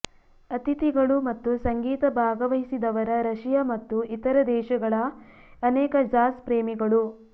ಅತಿಥಿಗಳು ಮತ್ತು ಸಂಗೀತ ಭಾಗವಹಿಸಿದವರ ರಶಿಯಾ ಮತ್ತು ಇತರ ದೇಶಗಳ ಅನೇಕ ಜಾಝ್ ಪ್ರೇಮಿಗಳು